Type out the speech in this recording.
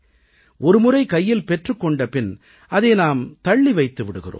ஒருமுறை கையில் பெற்றுக் கொண்ட பின் அதை நாம் தள்ளி வைத்து விடுகிறோம்